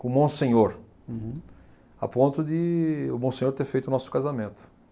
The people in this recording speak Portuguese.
com o monsenhor. Uhum. A ponto de o monsenhor ter feito o nosso casamento.